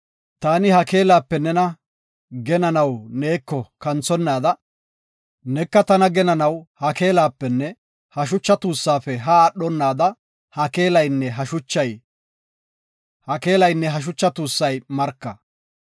Taani ha keelape nena genanaw neeko kanthonnaada, neka tana genanaw ha keelapenne ha shucha tuussafe haa aadhonada ha keelaynne ha shucha tuussay marka.